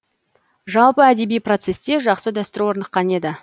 жалпы әдеби процесте жақсы дәстүр орныққан еді